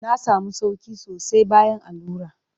Na sami sauƙi sosai bayan allura.